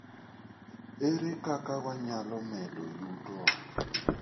Ere kaka wanyalo medo yutowa?